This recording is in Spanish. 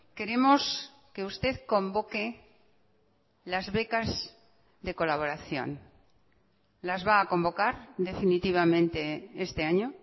queremos que usted convoque las becas de colaboración las va a convocar definitivamente este año